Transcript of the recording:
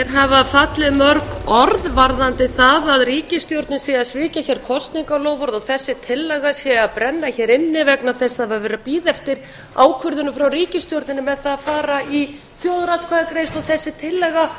hafa fallið mörg orð varðandi það að ríkisstjórnin sé að svíkja hér kosningaloforð og þessi tillaga sé að brenna hér inni vegna þess að það er verið að bíða eftir ákvörðunum frá ríkisstjórninni með það að fara í þjóðaratkvæðagreiðslu og þessi tillaga